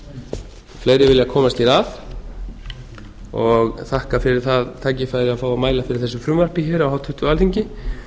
fleiri vilja komast hér að og þakka fyrir það tækifæri að fá að mæla fyrir þessu frumvarpi hér á háttvirtu alþingi